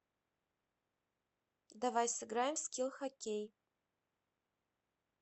давай сыграем в скилл хоккей